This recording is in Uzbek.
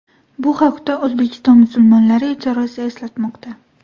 Bu haqda O‘zbekiston musulmonlari idorasi eslatmoqda .